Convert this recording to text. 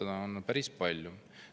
Sellist sisu on seal päris palju.